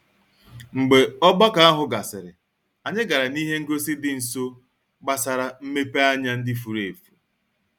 Mgbe ogbako ahụ gasịrị, anyị gara n'ihe ngosi dị nso gbasara mmepeanya ndị furu efu.